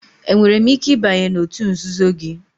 Enwere m ike ịbanye n'òtù nzuzo gị?